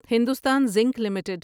Hindustan zinc limited